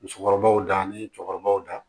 Musokɔrɔbaw da ni cɛkɔrɔbaw da